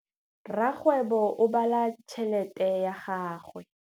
Rakgwêbô o bala tšheletê ya gagwe.